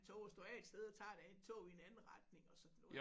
Tog og står af et sted og tager et tog i en anden retning og sådan noget